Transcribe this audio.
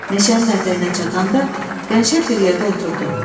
Meşənin ətəyinə çatanda qəşəng bir yerdə oturdum.